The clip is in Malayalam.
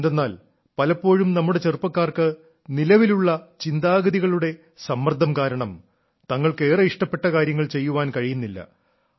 എന്തെന്നാൽ പലപ്പോഴും നമ്മുടെ ചെറുപ്പക്കാർക്ക് നിലവിലുള്ള ചിന്താഗതികളുടെ സമ്മർദ്ദം കാരണം തങ്ങൾക്ക് ഏറെ ഇഷ്ടപ്പെട്ട കാര്യങ്ങൾ ചെയ്യാൻ കഴിയുന്നില്ല